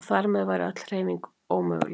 Og þar með væri öll hreyfing ómöguleg.